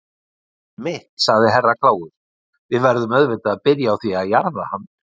Einmitt, sagði Herra Kláus, við verðum auðvitað að byrja á því að jarða hann.